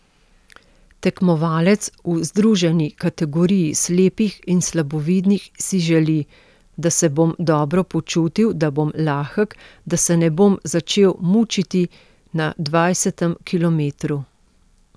Tekmovalec v združeni kategoriji slepih in slabovidnih si želi: 'Da se bom dobro počutil, da bom lahek, da se ne bom začel mučiti na dvajsetem kilometru.